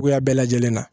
Cogoya bɛɛ lajɛlen na